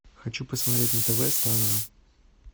хочу посмотреть на тв страна